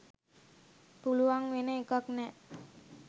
පුළුවන් වෙන එකක් නෑ.